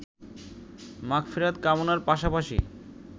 মাগফেরাত কামনার পাশাপাশি